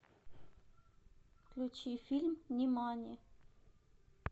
включи фильм нимани